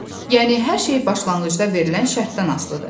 Yəni hər şey başlanğıcda verilən şərtdən asılıdır.